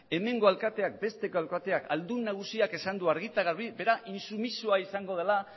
hemengo alkateak besteko alkateak ahaldun nagusiak esan du argi eta garbi berak intsumisoa izango dela